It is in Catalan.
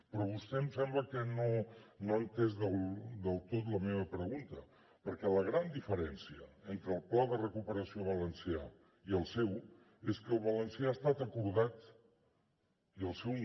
però vostè em sembla que no ha entès del tot la meva pregunta perquè la gran diferència entre el pla de recuperació valencià i el seu és que el valencià ha estat acordat i el seu no